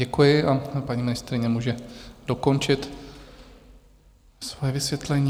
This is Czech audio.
Děkuji a paní ministryně může dokončit svoje vysvětlení.